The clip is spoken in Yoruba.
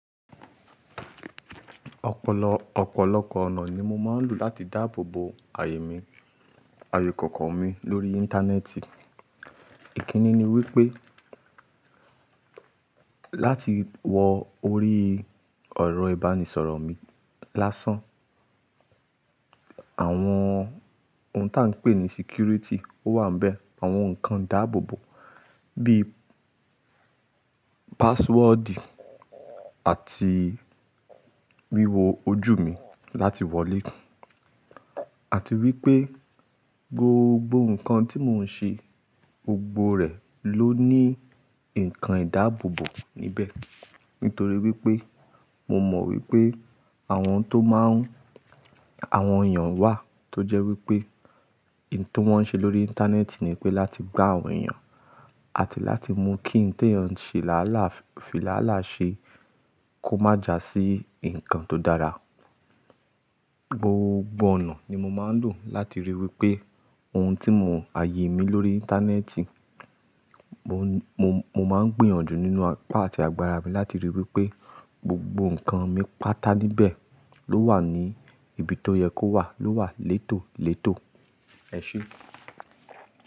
Ọ̀pọ̀lọpọ̀ ọ̀nà ni mo máa ń lò láti dáàbòbò àyè mi, àyè ìkòkò mi lórí Íńtánẹ́ẹ̀tì. Ìkíni ni wípé láti wọ orí ọ̀rọ̀ ìbánisọ̀rọ̀ mi lásán. Àwọn ohun tí a ń pè ní security wà níbẹ̀, àwọn ǹkan ìdáàbòbò bíi password àti wíwo ojú mi láti wọlé. Àti wípé gbogbo ǹkan tí mò ń ṣe, gbogbo rẹ̀ ló ní ǹkan ìdáàbòbò níbẹ̀. Nítorí wípé mo mọ̀ wípé àwọn tó má ń, àwọn èèyàn wà tó jẹ́ wípé ohun tí wọ́n ń ṣe lórí Íńtánẹ́ẹ̀tì ni pé láti gbá àwọn èèyàn àti láti mú kí ǹjẹ́ èèyàn ṣe làálàá, fìlàálàá ṣe kó má jásí ǹkan tó dára. Gbogbo ọ̀nà ni mo máa ń lò láti ríi wípé ohun tí mo àyè mi lórí Íńtánẹ́ẹ̀tì, mo máa ń gbìyànjú nínú apá àti agbára mi láti ríi wípé gbogbo ǹkan mi pátá níbẹ̀ ló wà ní ibi tó yẹ kó wà, ló wà létòlétò, ẹ ṣé.